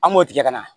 An b'o tigɛ ka na